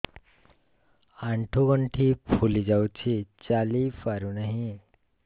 ଆଂଠୁ ଗଂଠି ଫୁଲି ଯାଉଛି ଚାଲି ପାରୁ ନାହିଁ